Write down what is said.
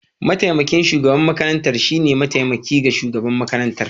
Mataimakin shugaban makarantar shine mataimaki ga shugaban makarantar.